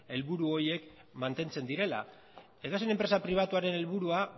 helburu horiek mantentzen direla edozein enpresa pribatuaren helburua